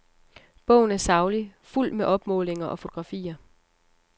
Bogen er saglig, fuldt med opmålinger og fotografier.